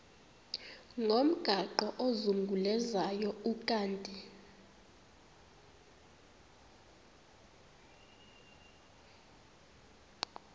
ngomgaqo ozungulezayo ukanti